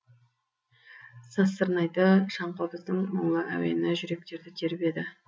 сазсырнайды шаңқобыздың мұңлы әуені жүректерді тербеді